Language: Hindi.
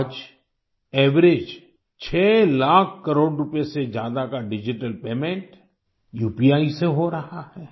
आज एवरेज 6 लाख करोड़ रूपये से ज्यादा का डिजिटल पेमेंट उपी से हो रहा है